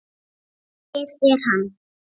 Hér er hann.